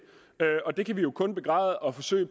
og det kan vi jo kun begræde og forsøge